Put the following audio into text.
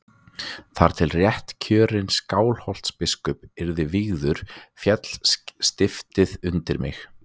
Þar til réttkjörinn Skálholtsbiskup yrði vígður féll stiftið undir mig.